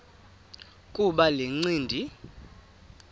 kuba le ncindi